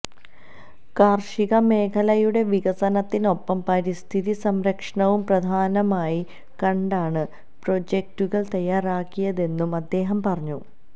കാര്ഷിക മേഖലയുടെ വികസനത്തിനൊപ്പം പരിസ്ഥിതി സംരക്ഷണവും പ്രധാനമായി കണ്ടാണ് പ്രൊജക്ടുകള് തയ്യാറാക്കിയതെന്നും അദ്ദേഹം പറഞ്ഞു